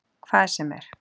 Hvað sem er.